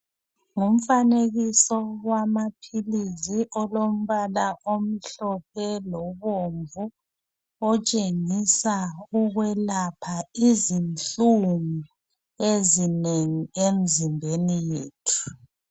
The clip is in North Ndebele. Ngumfanekiso wamaphilizi olombala omhlophe lobomvu otshengisa ukwelapha izinhlungu ezinengi emzimbeni yethu.